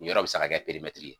Ni yɔrɔ bɛ se ka kɛ ye.